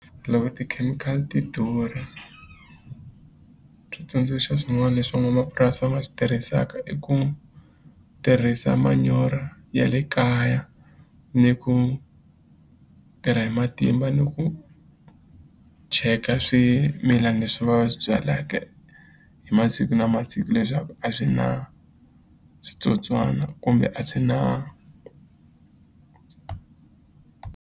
Loko tikhemikhali ti durha switsundzuxo swin'wani leswi van'wamapurasi va nga swi tirhisaka i ku tirhisa manyoro ya le kaya ni ku tirha hi matimba ni ku cheka swimilana leswi va swi byaleke hi masiku na masiku leswaku a swi na switsotswana kumbe a swi na.